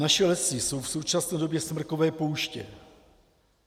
Naše lesy jsou v současné době smrkové pouště.